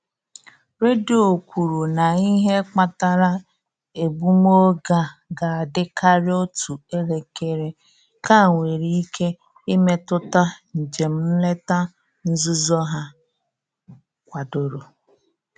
Redio kwuru na ihe kpatara egbumoge a ga-adị karịa otú elekere: nkea nwere ike imetụta njem nleta nzuzo ha kwadoro.